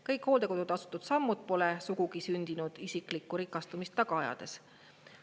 Kõik hooldekodude astutud sammud pole sugugi sündinud isiklikku rikastumist taga ajades.